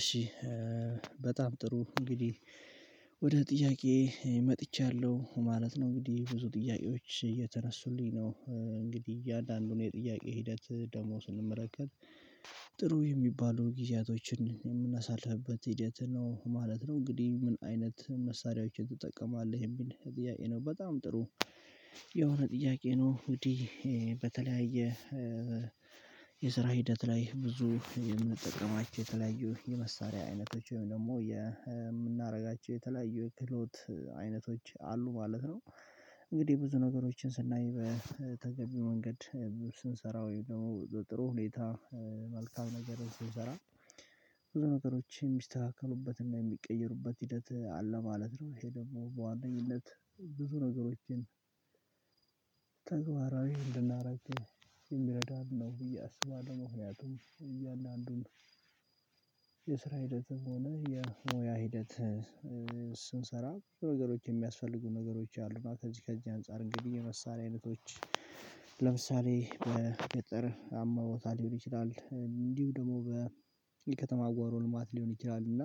እሺ በጣም ጥሩ እንግዲህ ወደ ጥያቄዬ መጥቻለሁ ማለት ነው እንግዲህ ብዙ ጥያቄዎች እየተነሱልኝ ነው እንግዲህ እያንዳንዱን የጥያቄ ሂደት ደግሞ ስንመለከት ጥሩ የሚባሉ ጊዜያቶችን የምናሳልፍበት ሂደት ነው ማለት ነው እንግዲህ ምን አይነት መሳሪያዎችን ትጠቀማለህ የሚል ጥያቄ ነው በጣም ጥሩ የሆነ ጥያቄ ነው እንግዲህ በተለያየ የስራ ሂደት ላይ ብዙ የምንጠቀማቸው የተለያዩ የመሳሪያ አይነቶች ወይም ደግሞ የምናደርጋቸው የተለያዩ የክህሎት አይነቶች አሉ ማለት ነው። እንግዲህ ብዙ ነገሮችን ስናይ በተገቢ መንገድ ስንሰራ ወይም ደግሞ ጥሩ ሁኔታ መልካም ነገር ስንሰራ ብዙ ነገሮች የሚስተካከሉበትና የሚቀየሩበት ሂደት አለ ማለት ነው ይሄ ደግሞ በዋነኝነት ብዙ ነገሮችን ተግባራዊ እንድናደርግ የሚረዳን ነው ብዬ አስባለሁ ምክንያቱም እያንዳንዱን ሂደትም ሆነ የሙያ ሂደት ስንሰራ ነገሮች የሚያስፈልጉ ነገሮች አሉ እና ከዚህ ከእኛ አንፃር እንግዲህ የመሳሪያ አይነቶች ለምሳሌ በገጠር አመውቦታ ሊሆን ይችላል እንዲሁ ደግሞ በከተማ ጓሮ ልማት ሊሆን ይችላል እና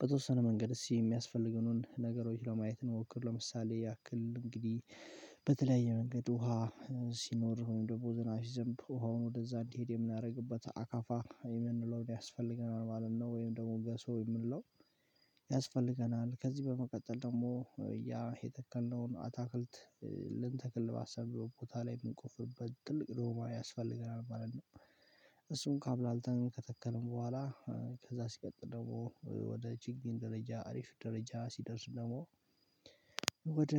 በተወሰነ መንገድ እስኪ እሚያስፈልጉንን ነገሮች ለማየት እንሞክር ለምሳሌ ያክል እንግዲህ በተለያየ መንገድ ውሃ ሲኖር ወይም ደግሞ ዝናብ ሲዘንብ ውሃውን ወደዛ እንዲሄድ የምናደርግበት አካፋ የምንለውን ያስፈልገናል ማለት ነው ወይም ደግሞ ገሶ የምንለው ያስፈልገናል ከዚህ በመቀጠል ደግሞ ያ የተከልነውን አታክልት ልንተክል ባሰብነው ቦታ ላይ የምንቆፍርበት ትልቅ ደማ ያስፈልገናል ማለት ነው እሱን ካብላልተን ከተከልን በኋላ ከዛ ሲቀጥል ደግሞ ወደ ችግኝ ደረጃ አሪፍ ደረጃ ሲደርስ ደግሞ ወደ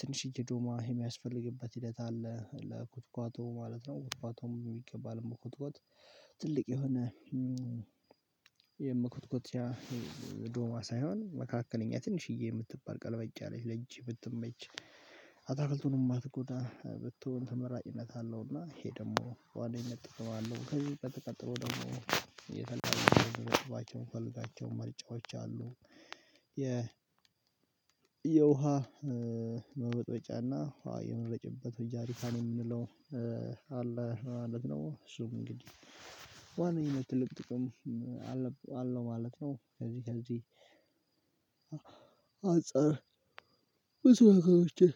ትንሽዬ ዶማ የሚያስፈልግበት ሂደት አለ ለኩትኳቶ ማለት ነው ኩትኳቶም በሚገባው ለመኮትኮት ትልቅ የሆነ የመኮትኮቻ ዶማ ሳይሆን መካከለኛ ትንሽዬ የምትባል ቀልበጭ ላይ ለእጅ የምትመች አታክልቱን የማትጎዳ ብትሆን ተመራጭነት አለውና ይሄ ደግሞ ዋነኝነት ጥቅም አለው እና ከዚህ ቀጥሎ ደግሞ የተለያዩ የጥባቸውን ምንፈልጋቸው መርጫዎች አሉ የ የውሃ መበጥበጫና የመረጭበት ጀሪካን የምንለው አለ ማለት ነው እሱም እንግዲህ በዋነኝነት ትልቅ ጥቅም አለው ማለት ነው ከዚህ ከዚህ አጸር ብዙ ነገሮችን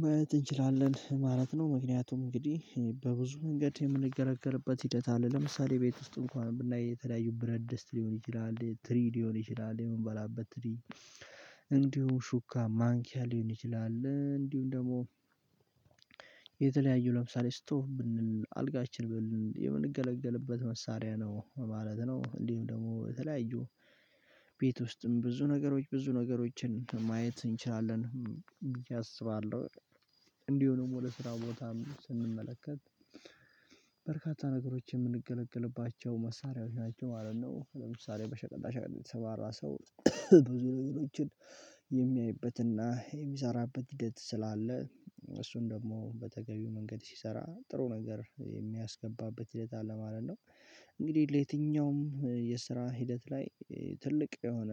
ማየት እንችላለን ማለት ነው ምክንያቱም እንግዲህ በብዙ መንገድ የምንገለገልበት ሂደት አለ ለምሳሌ ቤት ውስጥ እንኳን ብናይ የተለያዩ ብረት ደስት ሊሆን ይችላል ትሪ ሊሆን ይችላል የምንበላበት ትሪ እንዲሁም ሹካ ማንኪያ ሊሆን ይችላል እንዲሁም ደግሞ የተለያዩ ለምሳሌ ስቶብ ብንል አልጋችን ብንል የምንገለገልበት መሳሪያ ነው ማለት ነው እንዲሁም ደግሞ የተለያዩ ቤት ውስጥም ብዙ ነገሮች ብዙ ነገሮችን ማየት እንችላለን ብየ አስባለሁ እንዲሁም ደግሞ ወደ ስራው ቦታም ስንመለከት በርካታ ነገሮችን የምንገለግልባቸው መሳሪያዎች ናቸው ማለት ነው ለምሳሌ በሸቀጣ ሸቀጥ የተሰማራ ሰው ብዙ ነገሮችን የሚያይበትና የሚሰራበት ሂደት ስላለ እሱን ደግሞ በተገቢው መንገድ ሲሰራ ጥሩ ነገር የሚያስገባበት ሂደት አለ ማለት ነው እንግዲህ ለየትኛውም የስራ ሂደት ላይ ትልቅ የሆነ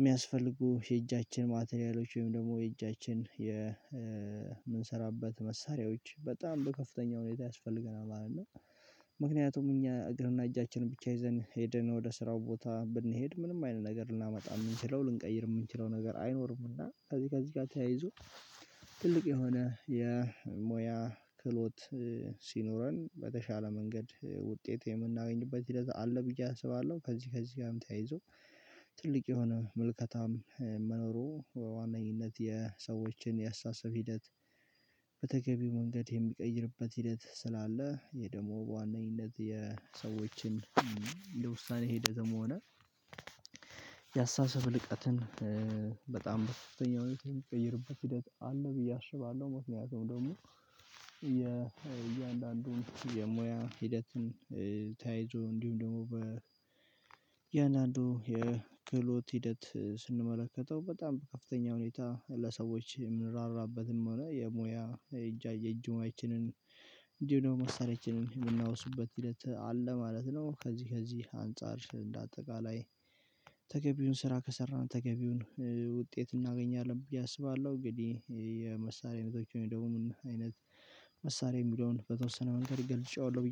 የሚያስፈልጉ የእጃችን ማቴሪያሎች ወይም ደግሞ የእጃችን የምንሰራበት መሳሪያዎች በጣም በከፍተኛ ሁኔታ ያስፈልገናል ማለት ነው ምክንያቱም እኛ እግርና እጃችንን ብቻ ይዘን ሄደን ወደ ስራው ቦታ ብንሄድ ምንም አይነት ነገር ልናመጣ የምንችለው ልንቀይር የምንችለው ነገር አይኖርምና ከዚህ ከዚህ ጋር ተያይዞ ትልቅ የሆነ የሞያ ክህሎት ሲኖረን በተሻለ መንገድ ውጤት የምናገኝበት ሂደት አለ ብዬ አስባለሁ ከዚህ ከዚህ ጋርም ተያይዞ ትልቅ የሆነ ምልከታም መኖሩ በዋነኝነት የሰዎችን የአስተሳሰብ ሂደት በተገቢው መንገድ የሚቀይርበት ሂደት ስላለ ይሄ ደግሞ በዋናነት የሰዎችን ለውሳኔ ሂደትም ሆነ የአስተሳሰብ ልህቀትን በጣም በከፍተኛ ሁኔታ የሚቀይርበት ሂደት አለ ብዬ አስባለሁ ሞክንያቱም ደግሞ የ እያንዳንዱን የሙያ ሂደትን ተያይዞ እንዲሁም ደግሞ በእያንዳንዱ የክህሎት ሂደት ስንመለከተው በጣም በከፍተኛ ሁኔታ ለሰዎች የምንራራበትም ሆነ የሙያ የእጃ የእጅ ሙያችን ችንን እንዲሁ ደግሞ መሳሪያችንን የምናወስበት ሂደት አለ ማለት ነው ከዚህ ከዚህ አንፃር እንደ አጠቃላይ ተገቢውን ስራ ከሰራን ተገቢውን ውጤት እናገኛለን ብዬ አስባለሁ እንግዲህ የመሳሪያ አይነቶች ወይም ደግሞ ምን አይነት መሳሪያ የሚለውን በተወሰነ መንገድ ገልጨዋለሁ ብየ